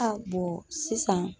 sisan